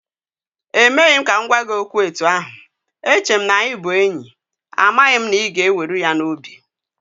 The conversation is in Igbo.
E meghị m ka m gwa gị okwu etu ahụ, eche m na-anyị bụ enyi, amaghị m na ị ga-eweru ya n'obi